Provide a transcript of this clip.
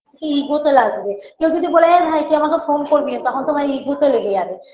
Ego -তে লাগবে কেউ যদি বলে এ ভাই তুই আমাকে phone করবি না তখন তোমার ego -তে লেগে যাবে